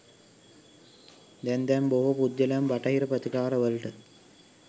දැන් දැන් බොහෝ පුද්ගලයන් බටහිර ප්‍රතිකාරවලට